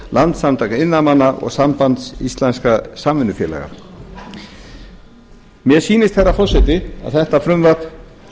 landssamtaka iðnaðarmanna og sambands íslenskra samvinnufélaga mér sýnist herra forseti að þetta frumvarp